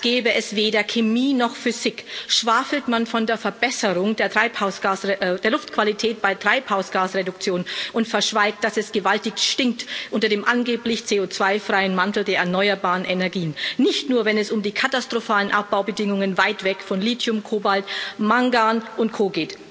Als gäbe es weder Chemie noch Physik, schwafelt man von der Verbesserung der Luftqualität bei Treibhausgasreduktion und verschweigt, dass es gewaltig stinkt unter dem angeblich CO2 freien Mantel der erneuerbaren Energien, nicht nur, wenn es um die katastrophalen Abbaubedingungen weit weg von Lithium, Kobalt, Mangan und Co.